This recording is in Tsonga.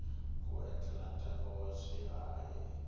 ku endzela ntanga wa swiharhi